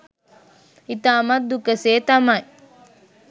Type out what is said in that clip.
ඉතාමත් දුක සේ තමයි